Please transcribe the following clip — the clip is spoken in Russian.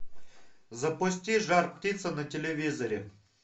запусти жар птица на телевизоре